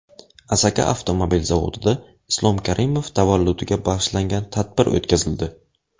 Asaka avtomobil zavodida Islom Karimov tavalludiga bag‘ishlangan tadbir o‘tkazildi.